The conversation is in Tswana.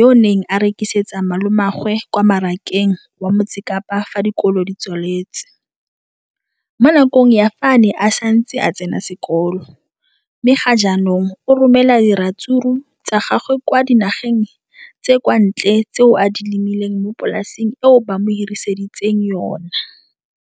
yo a neng a rekisetsa malomagwe kwa Marakeng wa Motsekapa fa dikolo di tswaletse, mo nakong ya fa a ne a santse a tsena sekolo, mme ga jaanong o romela diratsuru tsa gagwe kwa dinageng tsa kwa ntle tseo a di lemileng mo polaseng eo ba mo hiriseditseng yona.